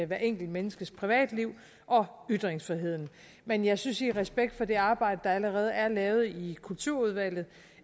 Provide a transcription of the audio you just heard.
hvert enkelt menneskes privatliv og ytringsfriheden men jeg synes i respekt for det arbejde der allerede er lavet i kulturudvalget